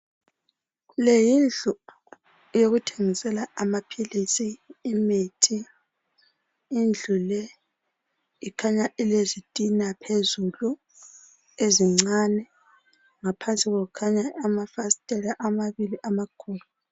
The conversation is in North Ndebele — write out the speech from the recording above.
le yindlu yokuthengisela amaphilisi imithi indlu le ikhanya ilezitina phezulu ezincane ngaphansi kwayo kukhaya amafasitela amabili amakhulu